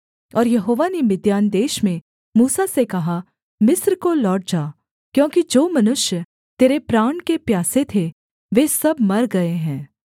और यहोवा ने मिद्यान देश में मूसा से कहा मिस्र को लौट जा क्योंकि जो मनुष्य तेरे प्राण के प्यासे थे वे सब मर गए हैं